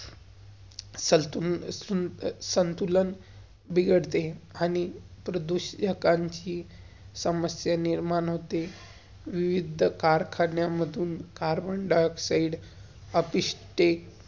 स~सन्तु~संतुलन बिघडते आणि प्रदुश्कांची समस्या निर्माण होते. विविध कारखान्या मधून कार्बन-डाइऑक्साइडcarbon-dioxide